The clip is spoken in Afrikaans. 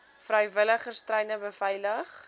vrywilligers treine beveilig